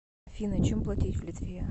афина чем платить в литве